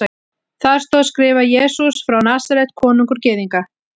Þar stóð skrifað: Jesús frá Nasaret, konungur Gyðinga.